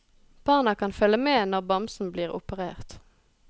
Barna kan følge med når bamsen blir operert.